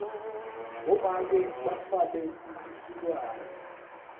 bomake batfwele lisekwane